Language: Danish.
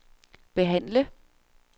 behandle